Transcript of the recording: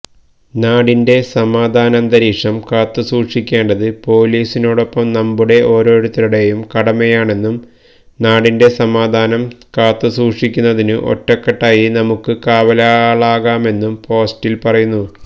നാടിൻറെ സമാധാനന്തരീക്ഷം കാത്തുസൂക്ഷിക്കേണ്ടത് പോലീസിനോടൊപ്പം നമ്മുടെ ഓരോരുത്തരുടെയും കടമയാണെന്നും നാടിൻറെ സമാധാനം കാത്തുസൂക്ഷിക്കുന്നതിനു ഒറ്റക്കെട്ടായി നമുക്ക് കാവലാളാകാമെന്നും പോസ്റ്റിൽ പറയുന്നു